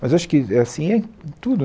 Mas acho que é assim em tudo.